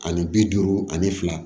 Ani bi duuru ani fila